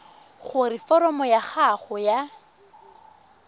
gore foromo ya gago ya